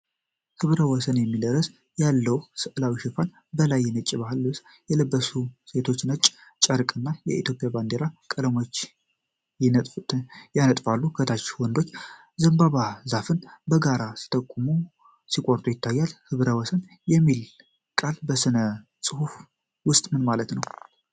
"ህብረ-ወሰን" የሚል ርዕስ ያለው ሥዕላዊ ሽፋን። በላይ ነጭ የባህል ልብስ የለበሱ ሴቶች ነጭ ጨርቅ እና የኢትዮጵያ ባንዲራ ቀለሞች ያነጥፋሉ። ከታች ወንዶች የዘንባባ ዛፍን በጋራ ሲቆርጡ ይታያሉ። "ህብረ-ወሰን" የሚለው ቃል በሥነ-ጽሑፍ ውስጥ ምን ማለት ነው?